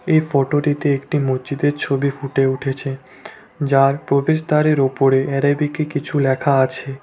এ ফটোটিতে একটি মসজিদের ছবি ফুটে উঠেছে যার প্রবেশদ্বারের ওপরে অ্যারাবিকে কিছু লেখা আছে।